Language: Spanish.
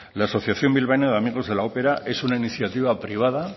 la asociación bilbaína de amigos de la ópera es una iniciativa privada